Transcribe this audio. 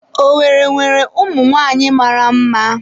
Owerri nwere umunwanyi mara mma.